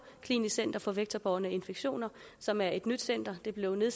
klinisk center for vektorbårne infektioner som er et nyt center der blev